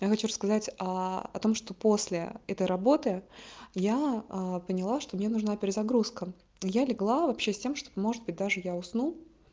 я хочу рассказать о том что после этой работы я поняла что мне нужна перезагрузка я легла вообще с тем чтобы может быть даже я усну